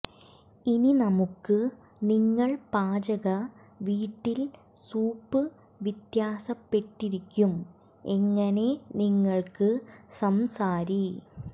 ഇനി നമുക്ക് നിങ്ങൾ പാചക വീട്ടിൽ സൂപ്പ് വ്യത്യാസപ്പെട്ടിരിക്കും എങ്ങനെ നിങ്ങൾക്ക് സംസാരി